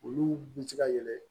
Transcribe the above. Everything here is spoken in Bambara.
Olu bi se ka yɛlɛ